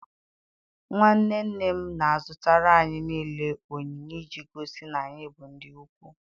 Nwa nne nne m na-azụtara anyị niile onyinye iji gosi na anyị bụ ndị ikwu.